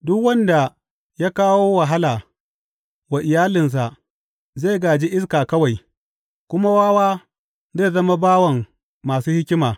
Duk wanda ya kawo wahala wa iyalinsa zai gāji iska kawai, kuma wawa zai zama bawan masu hikima.